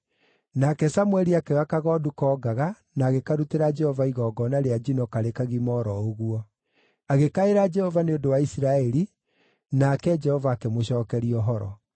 Nake Samũeli akĩoya kagondu koongaga na agĩkarutĩra Jehova igongona rĩa njino karĩ kagima o ro ũguo. Agĩkaĩra Jehova nĩ ũndũ wa Isiraeli, nake Jehova akĩmũcookeria ũhoro.